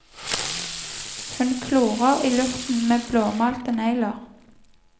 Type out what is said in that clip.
Hun klorer i luften med blåmalte negler.